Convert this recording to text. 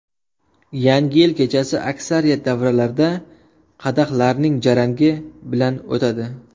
Yangi yil kechasi aksariyat davralarda qadahlarning jarangi bilan o‘tadi.